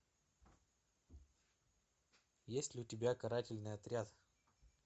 есть ли у тебя карательный отряд